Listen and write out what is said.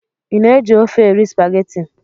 Ị na-eji ofe erị spageti?